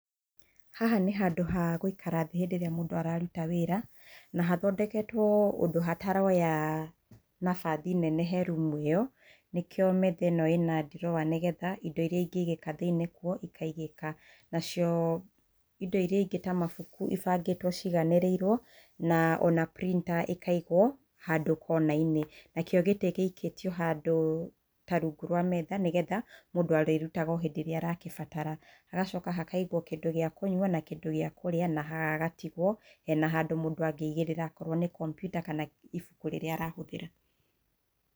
Haha nĩ handũ ha gũikara thĩ hĩndĩ ĩrĩa mũndũ araruta wĩra, na hathondeketwoo ũndũ hataroya nabathi nene he rumu ĩyo, nĩkĩo metha ĩno ĩna drawer nĩ getha indo iria ingĩigĩka thĩiniĩ kuo, ikaigĩka nacio indo iria ingĩ ta mabuku ibangĩtwo ciganĩrĩirwo na ona printer ĩkaigwo handũ kona-inĩ. Nakĩo gĩtĩ gĩikĩtio ta handũ rungu rwa metha nĩ getha mũndũ arĩkĩrutaga o rĩrĩa aragĩbatara hagacoka hakaigwo kĩndũ gia kũnyua na kĩndũ gĩa kũrĩa na hagatigwo hena handũ mũndũ angĩigĩrĩra akorwo nĩ kompiuta kana ibuku rĩrĩa arahũthĩra.